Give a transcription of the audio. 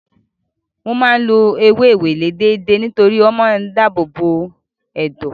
Mo máa ń lo ewé ewéle déédéé nítorí ó máa ń dáàbò bo ẹ̀dọ̀.